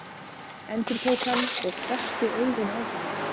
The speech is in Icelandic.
endurtók hann og hvessti augun á hana.